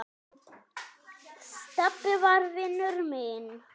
Stebbi var vinur minn.